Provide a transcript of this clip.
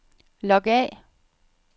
log af